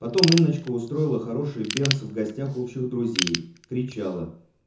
потом инночка устроила хороший бенс в гостях общих друзей кричала